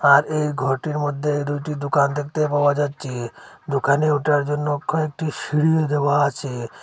আর এই ঘটির মধ্যে দুইটি দুকান দেখতে পাওয়া যাচ্ছে দুকানে উঠার জন্য কয়েকটি সিঁড়ি দেওয়া আছে।